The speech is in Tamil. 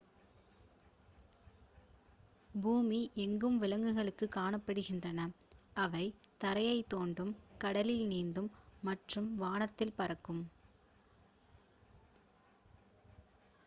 பூமி எங்கும் விலங்குகள் காணப்படுகின்றன அவை தரையை தோண்டும் கடலில் நீந்தும் மற்றும் வானத்தில் பறக்கும்